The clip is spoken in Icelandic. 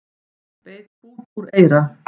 Beit bút úr eyra